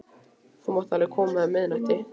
Þú mátt alveg koma um miðnættið.